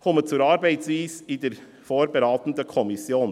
Ich komme zur Arbeitsweise in der vorberatenden Kommission.